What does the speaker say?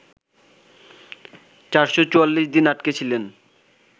৪৪৪ দিন আটকে ছিলেন